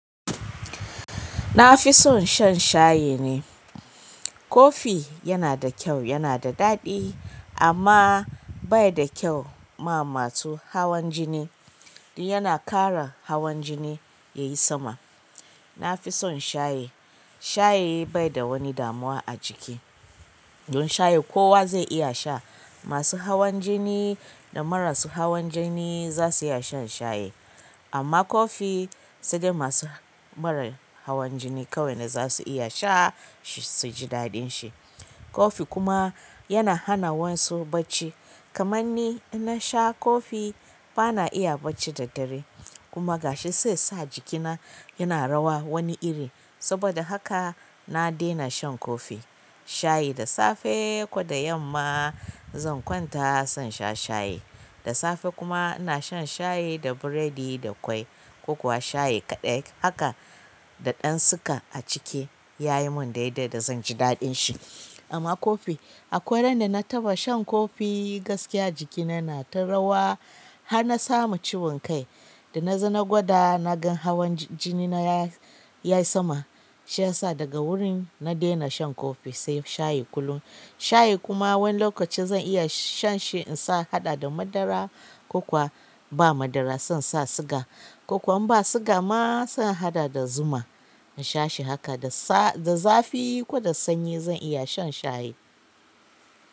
Na fi son shan shayi ne. Kofi yana da kyau, yana da daɗi amma bai da kyau ma masu hawan jini. Yana ƙara hawan jini ya yi sama. Na fi son shayi. Shayi bai da wani damuwa a jiki. Don shayi kowa zai iya sha. Masu hawan jini da marasu hawan jini za su iya shan shayi. Amma kofi sai dai masu mara hawan jini kawai ne zasu iya sha su ji daɗin shi. Kofi kuma yana hana wansu bacci. Kamanni in na sha kofi ba na iya bacci da dare. Kuma ga shi sai sa jikina yana rawa wani iri. Saboda haka na dena shan kofi. Shayi da safe ko da yamma zan kwanta zan sha shayi. Da safe kuma na shan shayi da biredi da ƙwai ko kuwa shayi kaɗai haka da ɗan siga a ciki yayi mun daidai da zan ji daɗin shi. Amma kofi akwai ran da na taɓa shan kofi gaskiya jikina yana ta rawa har na samu ciwon kai. Da na je na gwada na gan hawan jini na ya yi sama. Shiyasa daga wurin na dena shan kofi, sai shayi kullum. Shayi kuma wani lokacin zan iya shan shi insa madara ko kuwa ba madara zan sa siga ko kuwa in ba siga ma zan haɗa da zuma in sha shi haka. Da zafi ko da sanyi zan iya shan shayi.